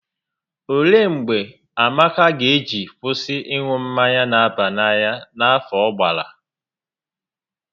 Olee mgbe Amaka ga eji kwụsị ịṅụ mmanya n'aba n'anya n'afọ ọ gbara?